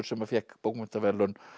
sem fékk bókmenntaverðlaun